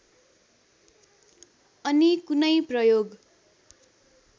अनि कुनै प्रयोग